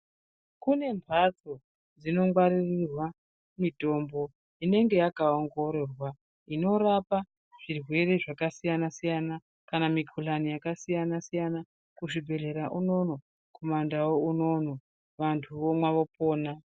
Kune mhatso dzinongwaririrwa mitombo inenge yakaongororwa inorapa zvirwere zvakasiyana-siyana kana mikhulani yakasiyana-siyana kuzvibhehlera unono, kumandau unono vantu vomwa vopona.